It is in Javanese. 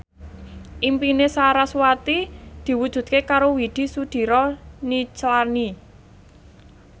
impine sarasvati diwujudke karo Widy Soediro Nichlany